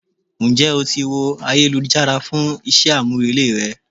Ń jẹ́ o ti wo ayélujára fún iṣẹ́ àmúrelé rẹ?